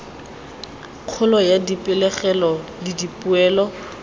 kgolo ya dipegelo le dipoelo